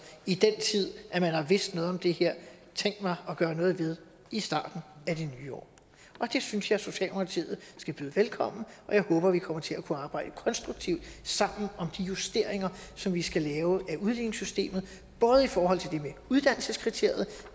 i den tid man har vidst noget om det her tænkt mig gøre noget ved i starten af det nye år det synes jeg at socialdemokratiet skal byde velkommen og jeg håber at vi kommer til at kunne arbejde konstruktivt sammen om de justeringer som vi skal lave af udligningssystemet både i forhold til det med uddannelseskriteriet